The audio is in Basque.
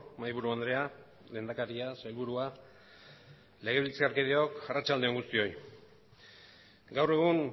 mahaiburu andrea lehendakaria sailburua legebiltzarkideok arratsalde on guztioi gaur egun